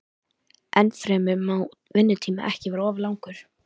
Ennfremur má vinnutíminn ekki vera of langur.